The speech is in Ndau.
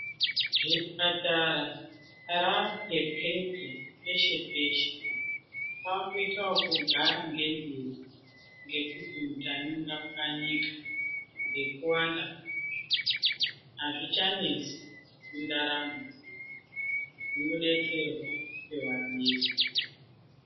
Zvipatara rapwepepe peshe-peshe, kwakuito ekugara ngendiro ngekuti mutani ungapwanyika ngekuwanda azvichanesi mundaramo. Unodetserwa pewadira.